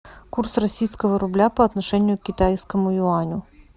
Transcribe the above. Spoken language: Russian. курс российского рубля по отношению к китайскому юаню